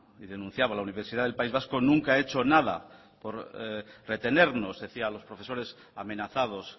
y denunciaba la universidad del país vasco nunca ha hecho nada por retenernos decía a los profesores amenazados